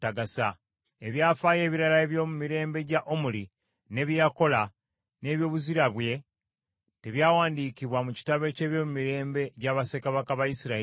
Ebyafaayo ebirala eby’omu mirembe gya Omuli, ne bye yakola, n’ebyobuzira bye, tebyawandiikibwa mu kitabo eky’ebyomumirembe gya bassekabaka ba Isirayiri?